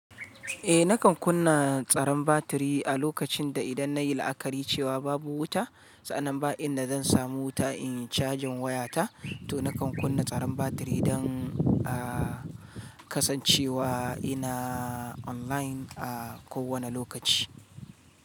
Eh nakan kunna tsaron batiri a lokacin da idan nayi la'akari cewa babu wuta, sa, annan ba inda zan samu wuta inyi cajin wayata, to nakan kunna tsaron batiri idan a kasancewa ina online a ko wane lokaci.